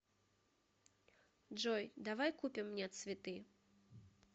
джой давай купим мне цветы